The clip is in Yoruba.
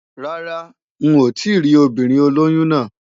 Rárá n ò tíì rí ọmọbìnrin olóyún náà.